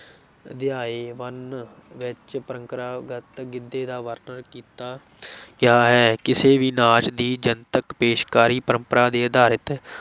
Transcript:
ਅਧਿਆਇ one ਵਿੱਚ ਪਰੰਪਰਾਗਤ ਗਿੱਧੇ ਦਾ ਵਰਨਣ ਕੀਤਾ ਗਿਆ ਹੈ, ਕਿਸੇ ਵੀ ਨਾਚ ਦੀ ਜਨਤਕ ਪੇਸ਼ਕਾਰੀ ਪਰੰਪਰਾ ਤੇ ਆਧਾਰਿਤ